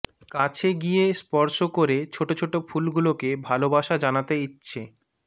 কাছে গিয়ে স্পর্শ করে ছোট ছোট ফুলগুলোকে ভালোবাসা জানাতে ইচ্ছে